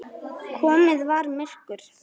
Komið var myrkur.